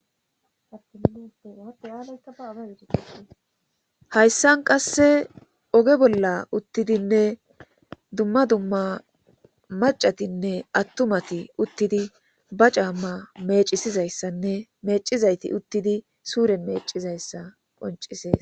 Aayaaaaihayssan qasse oge bolla uttidinne dumma dumma macatinne attumati uttidi ba camma mecisizayssanne mecizayti uttidi suuren meecizayssa qoncisees.